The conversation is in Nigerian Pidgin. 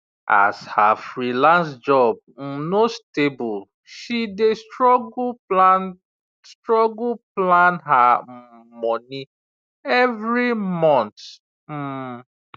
as her freelance job um no stable she dey struggle plan struggle plan her um money every month um